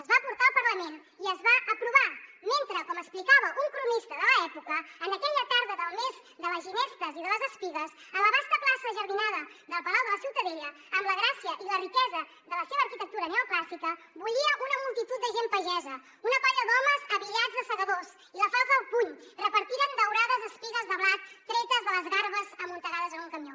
es va portar al parlament i es va aprovar mentre com explicava un cronista de l’època en aquella tarda del mes de les ginestes i de les espigues a la vasta plaça enjardinada del palau de la ciutadella amb la gràcia i la riquesa de la seva arquitectura neoclàssica bullia una multitud de gent pagesa una colla d’homes abillats de segadors i la falç al puny repartiren daurades espigues de blat tretes de les garbes amuntegades en un camió